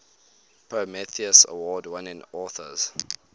prometheus award winning authors